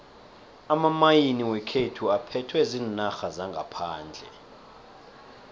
amamayini wekhethu aphethwe ziinarha zangaphandle